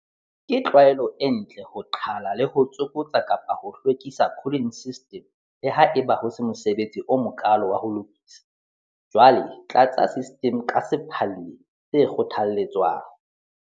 Ke tlwaelo e ntle ho qhala le ho tsokotsa-hwekisa cooling system le ha eba ho se mosebetsi o mokaalo wa ho lokisa. Jwale tlatsa system ka sephalli se kgothalletswang.